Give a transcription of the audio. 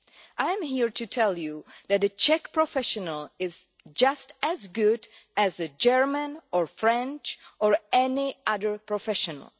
I am here to tell you that a Czech professional is just as good as a German, French or any other professional.